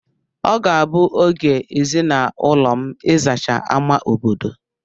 Ọ ga-abụ oge ezinaụlọ m ịzacha ámá obodo.